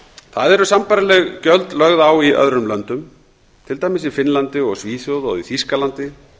það eru sambærileg gjöld lögð á í öðrum löndum til dæmis í finnlandi og svíþjóð og í þýskalandi